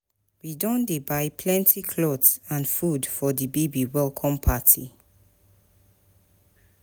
We don dey buy plenty cloth and food for di baby welcome party.